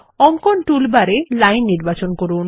অঙ্কন tool bar এ line নির্বাচন করুন